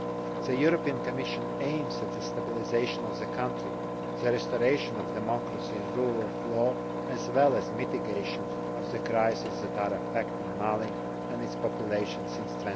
The Commission aims at the stabilisation of the country, the restoration of democracy and rule of law, as well as mitigation of the crisis that is affecting Mali and its population since